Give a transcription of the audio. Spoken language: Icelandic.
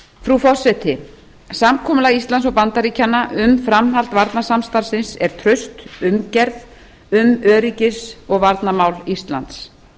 frú forseti samkomulag íslands og bandaríkjanna um framhald varnarsamstarfsins er traust umgerð um öryggis og varnarmál íslands